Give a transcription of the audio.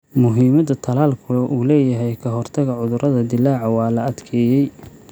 Muhiimadda tallaalku u leeyahay ka-hortagga cudurrada dillaaca waa la adkeeyay.